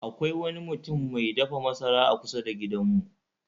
Akwai wani mutum mai dafa masara a kusa da gidanmu